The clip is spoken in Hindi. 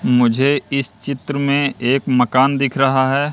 मुझे इस चित्र में एक मकान दिख रहा है।